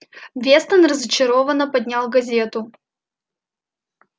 вестон разочарованно поднял газету